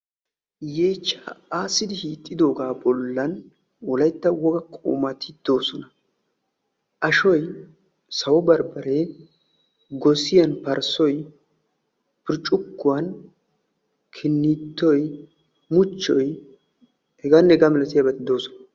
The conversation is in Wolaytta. Yeechchaa aassidi hiixxidoogaa bollan wolaytta woga qumati de'oosona. Ashoy, sawo barbbaree, gosiyan parssoy, burccukkuwan kinniittoy, muchchoy h.h.m doosona.